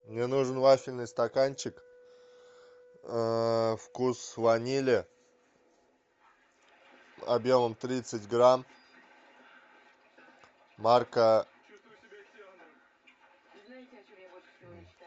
мне нужен вафельный стаканчик вкус ванили объемом тридцать грамм марка